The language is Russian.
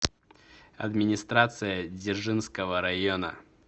администрация дзержинского района